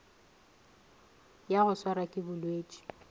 ya go swarwa ke bolwetši